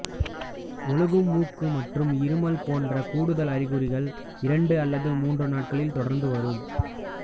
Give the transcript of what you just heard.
ஒழுகும் மூக்கு மற்றும் இருமல் போன்ற கூடுதல் அறிகுறிகள் இரண்டு அல்லது மூன்று நாட்களில் தொடர்ந்து வரும்